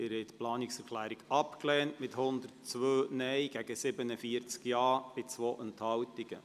Sie haben diese Planungserklärung abgelehnt mit 102 Nein- gegen 47 Ja-Stimmen bei 2 Enthaltungen.